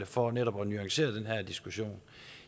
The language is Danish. for netop at nuancere den her diskussion